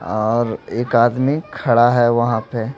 और एक आदमी खड़ा है वहां पे।